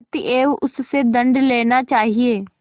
अतएव उससे दंड लेना चाहिए